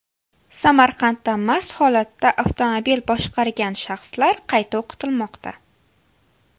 Samarqandda mast holatda avtomobil boshqargan shaxslar qayta o‘qitilmoqda.